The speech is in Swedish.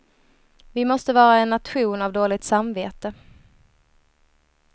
Vi måste vara en nation av dåligt samvete.